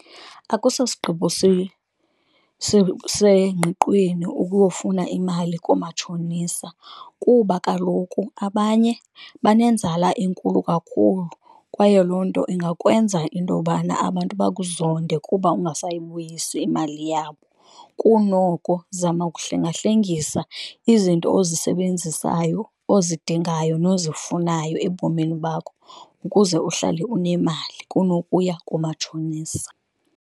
Akusosigqibo sengqiqweni ukuyofuna imali koomatshonisa kuba kaloku abanye banenzala enkulu kakhulu, kwaye loo nto ingakwenza into yobana abantu bakuzonde kuba ungasayibuyisi imali yabo. Kunoko zama ukuhlengahlengisa izinto ozisebenzisayo, ozidingayo, nozifunayo ebomini bakho ukuze uhlale unemali, kunokuya kumatshonisa.